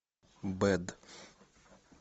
бэд